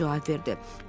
Tom cavab verdi.